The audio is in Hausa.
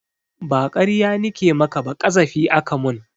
Ba ƙarya nike maka ba ƙazafi aka mun